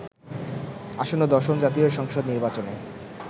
আসন্ন দশম জাতীয় সংসদ নির্বাচনে